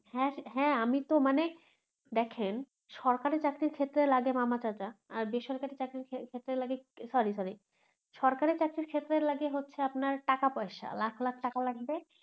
হ্যা হ্যা, হ্যা আমিতো মানে দেখেন সরকারি চাকরির ক্ষেত্রে লাগে মামা চাচা আর বেসরকারি চাকরির ক্ষেত্রে লাগে sorry sorry সরকারি চাকরির ক্ষেত্রে লাগে হচ্ছে আপনার টাকা পয়সা লাখ লাখ টাকা লাগবে